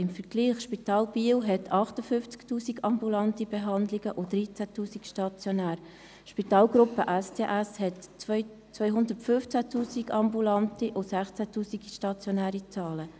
Im Vergleich dazu weist das Spital Biel 58 000 ambulante und 13 000 stationäre Behandlungen aus und die Spitalgruppe STS AG 215 000 ambulante und 16 000 stationäre Behandlungen.